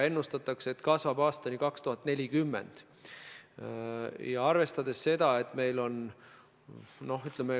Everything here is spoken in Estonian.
Ennustatakse, et see kasvab aastani 2040.